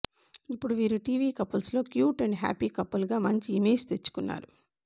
ఇప్పుడు వీరు TV couples లో క్యూట్ అండ్ హ్యాపీ కపుల్ గా మంచి ఇమేజ్ తెచ్చుకున్నారు